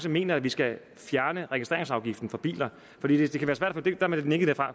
mener at vi skal fjerne registreringsafgiften for biler der bliver nikket